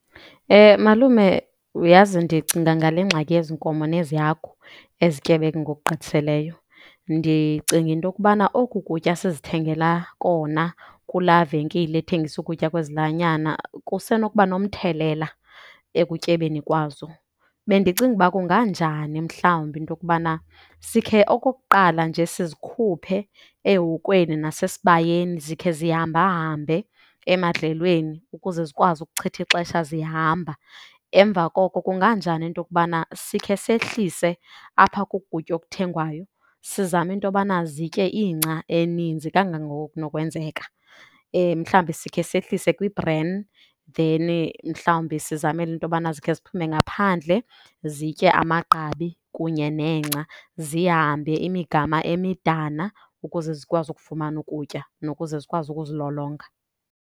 Malume, uyazi ndicinga ngale ngxaki yezi nkomo nezi hagu ezityebe ngokugqithiseleyo. Ndicinga into yokubana oku kutya sizithengela kona kulaa venkile ethengisa ukutya kwezilwanyana kusenokuba nomthelela ekutyebeni kwazo. Bendicinga ukuba kunganjani mhlawumbi into yokubana sikhe okokuqala nje sizikhuphe ehokweni nasesibayeni, zikhe zihambahambe emadlelweni ukuze zikwazi ukuchitha ixesha zihamba. Emva koko kunganjani into yokubana sikhe sehlise apha koku kutya okuthengwayo, sizame into yokubana zitye ingca eninzi kangangoko kunokwenzeka. Mhlawumbi sikhe sehlise kwi-bran then mhlawumbi sizamele into yobana zikhe ziphume ngaphandle zitye amagqabi kunye nengca. Zihambe imigama emidana ukuze zikwazi ukufumana ukutya nokuze zikwazi ukuzilolonga.